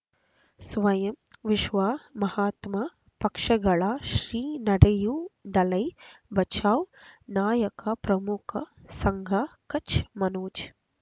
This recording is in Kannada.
ಸ್ವಯಂ ವಿಶ್ವ ಮಹಾತ್ಮ ಪಕ್ಷಗಳ ಶ್ರೀ ನಡೆಯೂ ದಲೈ ಬಚೌ ನಾಯಕ ಪ್ರಮುಖ ಸಂಘ ಕಚ್ ಮನೋಜ್